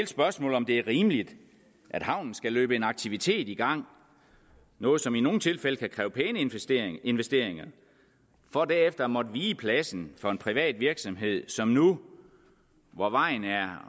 spørgsmålet om det er rimeligt at havnen skal løbe en aktivitet i gang noget som i nogle tilfælde kan kræve pæne investeringer investeringer for derefter at måtte vige pladsen for en privat virksomhed som nu hvor vejen er